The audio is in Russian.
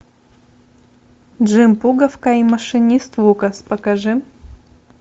джим пуговка и машинист лукас покажи